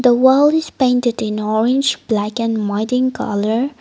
the wall is painted in orange black and mud in colour.